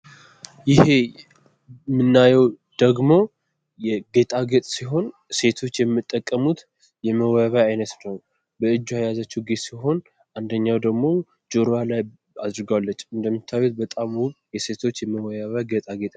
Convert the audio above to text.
ይሄ የምናየው ደግሞ ጌጣጌጥ ሲሆን ሴቶች የሚጠቀሙት የመዋቢያ አይነት ነው። የእጇ የያዘችው ጌጥ ሲሆን አንደኛው ደግሞ ጆሮዋ ላይ አድርገዋለች። እንደሚታየው በጣም ውብ የሴቶች የመዋቢያ ጌጣጌጥ ነው ።